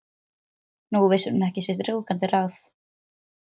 Nú vissi hún ekki sitt rjúkandi ráð.